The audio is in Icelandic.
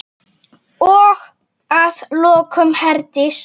Og að lokum, Herdís.